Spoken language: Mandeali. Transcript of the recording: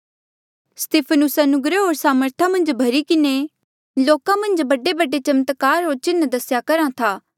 स्तिफनुस अनुग्रह होर सामर्था मन्झ भर्ही किन्हें लोका मन्झ बडेबडे चमत्कार होर चिन्ह दसेया करहा था